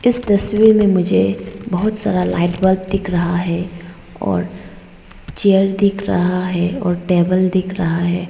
इस तस्वीर में मुझे बहुत सारा लाइट बल्ब दिख रहा है और चेयर दिख रहा है और टेबल दिख रहा है।